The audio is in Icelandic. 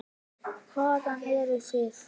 Hvaðan eruð þið?